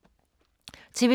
TV 2